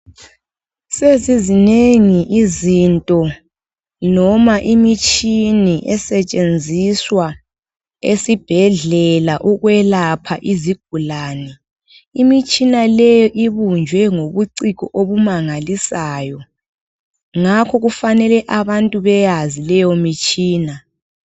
Sezizinengi izinto noma imitshini esetshenziswa esibhedlela ukwelapha izigulane, imitshina leyi ibunjwe ngobuciko obumangalisayo ngakho kufanele abantu beyaze leyo mitshina.